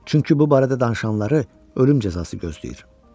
Çünki bu barədə danışanları ölüm cəzası gözləyir.